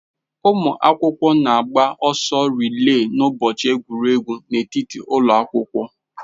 Ụmụ akwụkwọ na-agba ọsọ rịree n'ụbọchị egwuregwu n'etiti ụlọ akwụkwọ